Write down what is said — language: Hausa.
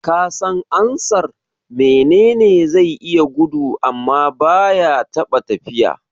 Kasan ansar "Mene ne zai iya gudu amma baya taɓa tafiya"?